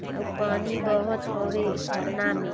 अउ पानी बहत हावे झरना में--